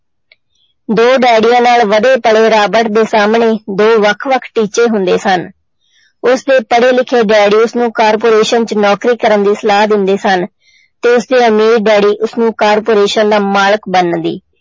ਦੋ ਡੈਡੀਆਂ ਨਾਲ ਵਧੇ ਪਲੇ ਰਾਬਟ ਦੇ ਸਾਹਮਣੇ ਦੋ ਵੱਖ ਵੱਖ ਟੀਚੇ ਹੁੰਦੇ ਸਨ, ਉਸਦੇ ਪੜ੍ਹੇ ਲਿਖੇ ਡੈਡੀ ਉਸਨੂੰ corporation 'ਚ ਨੌਕਰੀ ਕਰਨ ਦੀ ਸਲਾਹ ਦਿੰਦੇ ਸਨ ਤੇ ਉਸਦੇ ਅਮੀਰ ਡੈਡੀ ਉਸਨੂੰ corporation ਦਾ ਮਾਲਕ ਬਣਨ ਦੀ।